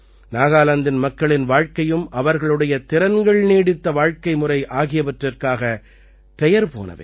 நாகாலாந்தின் மக்களின் வாழ்க்கையும் அவர்களுடைய திறன்கள்நீடித்த வாழ்க்கைமுறை ஆகியவற்றிற்காக பெயர் போனவை